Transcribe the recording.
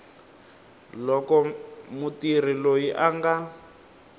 loko mutirhi loyi a nga